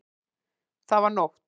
Það var nótt.